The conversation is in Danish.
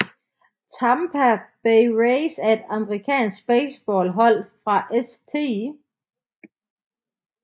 Tampa Bay Rays er et amerikansk baseballhold fra St